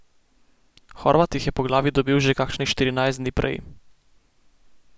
Horvat jih je po glavi dobil že kakšnih štirinajst dni prej.